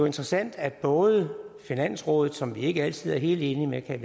interessant at både finansrådet som vi ikke altid er helt enige med kan